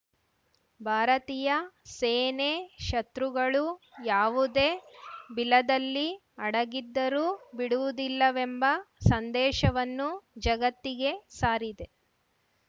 ಭಾರತೀಯ ಸೇನೆ ಶತೃಗಳು ಯಾವುದೇ ಬಿಲದಲ್ಲಿ ಅಡಗಿದ್ದರೂ ಬಿಡುವುದಿಲ್ಲವೆಂಬ ಸಂದೇಶವನ್ನು ಜಗತ್ತಿಗೆ ಸಾರಿದೆ